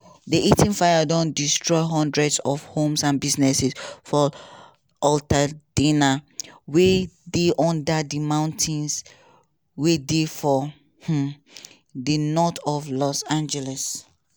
di eaton fire don destroy hundreds of homes and businesses for altadena wey dey under di mountains wey dey for um id north of los angeles.